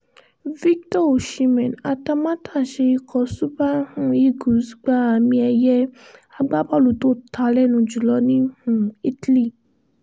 victor osimeh atamátàsé ikọ̀ super um eagles gba àmì ẹ̀yẹ agbábọ́ọ̀lù tó ta lẹ́nu jùlọ ní um italy